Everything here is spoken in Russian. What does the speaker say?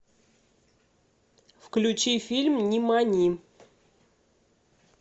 включи фильм нимани